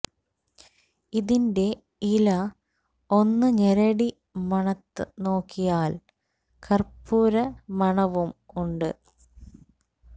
ഇതിൻറെ ഇല ഒന്ന് ഞെരടി മണത്ത് നോക്കിയാൽ കർപ്പുര മണവും ഉണ്ട്